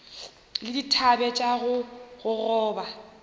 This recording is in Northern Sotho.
le dithabe tša go gogoba